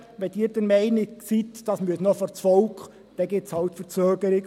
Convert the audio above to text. Wenn Sie der Meinung sind, es müsse noch vors Volk, dann gibt es halt eine Verzögerung.